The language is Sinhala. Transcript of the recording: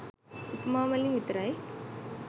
උපමා වලින් විතරයි.